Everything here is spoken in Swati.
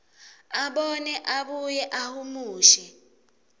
abone abuye ahumushe